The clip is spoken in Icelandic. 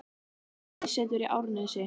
Hún hefur aðsetur í Árnesi.